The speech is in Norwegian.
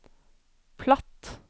platt